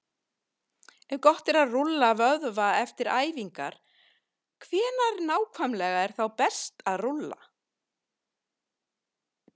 Ef gott er að rúlla vöðva eftir æfingar, hvenær nákvæmlega er þá best að rúlla?